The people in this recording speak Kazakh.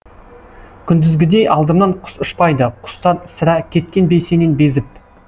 күндізгідей алдымнан құс ұшпайды құстар сірә кеткен бе сенен безіп